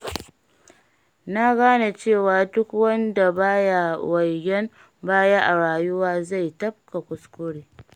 Na gane cewa duk wanda baya waigen baya a rayuwa, zai ta tafka kuskure.